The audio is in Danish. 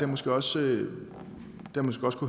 måske også kunnet